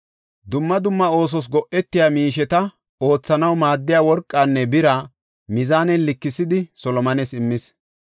Dumma dumma oosos go7etiya miisheta oothanaw maaddiya worqanne bira mizaanen likisidi Solomones immis.